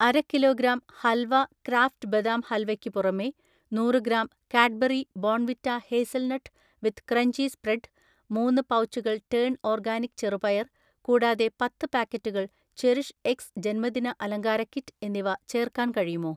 അര kilogram halwa Kraft badam halwa ക്ക് പുറമേ നൂറ് gram Cadbury Bournvita hazelnut with crunchy spread, മൂന്ന് പൗച്ചുകൾ ടേൺ ഓർഗാനിക് ചെറുപയർ കൂടാതെ പത്ത് പാക്കറ്റുകൾ ചെറിഷ്എക്സ് ജന്മദിന അലങ്കാര കിറ്റ് എന്നിവ ചേർക്കാൻ കഴിയുമോ?